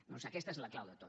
doncs aquesta és la clau de tot